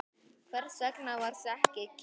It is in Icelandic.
Hvers vegna varstu ekki kyrr?